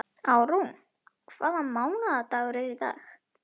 Árún, hvaða mánaðardagur er í dag?